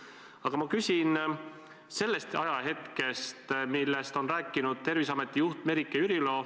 Aga ma küsin lähtuvalt ühest ajahetkest, millest on rääkinud Terviseameti juht Merike Jürilo.